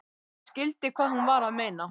Ég skildi hvað hún var að meina.